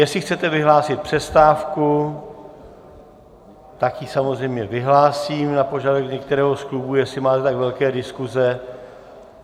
Jestli chcete vyhlásit přestávku, tak ji samozřejmě vyhlásím na požadavek některého z klubů, jestli máte tak velké diskuse.